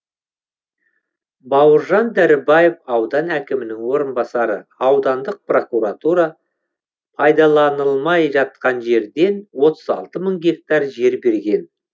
бауыржан дәрібаев аудан әкімінің орынбасары аудандық прокуратура пайдаланылмай жатқан жерден отыз алты мың гектар жер берген